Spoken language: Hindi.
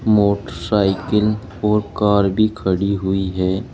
मोटरसाइकिल और कार भी खड़ी हुई है।